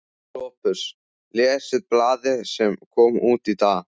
SOPHUS: Lesið blaðið sem kom út í dag.